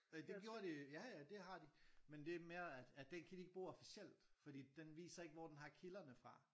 Øh et gjorde de ja ja det har de men det er mere at at den kan de ikke bruge officielt fordi den viser ikke hvor den har kilderne fra